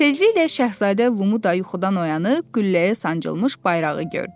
Tezliklə Şahzadə Limu da yuxudan oyanıb, gülləyə sancılmış bayrağı gördü.